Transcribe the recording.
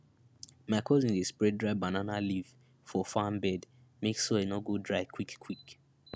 my cousin dey spread dry banana leaf for farm bed make soil no go dry quickquick